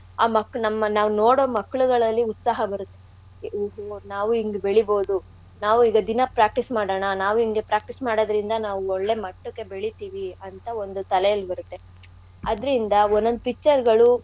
ಆ ಮಕ್ಕ್ಳ್~ ನಮ್ಮ್~ ನಾವ್ ನೋಡೋ ಮಕ್ಕ್ಳ್ಗಳಲ್ಲಿ ಉತ್ಸಾಹ ಬರುತ್ತೆ ನಾವೂ ಹಿಂಗ್ ಬೆಳಿೇಬೌದು ನಾವೂ ಈಗ ದಿನಾ practice ಮಾಡಾಣ ನಾವೂ ಇಂಗೆ practice ಮಾಡೋದ್ರಿಂದ ನಾವ್ ಒಳ್ಳೆ ಮಟ್ಟಕ್ಕೆ ಬೆಳಿೇತೀವಿ ಅಂತ ಒಂದ್ ತಲೇಲ್ ಇರುತ್ತೆ. ಅದ್ರಿಂದ ಒನ್~ ಒಂದ್ picture ಗಳು.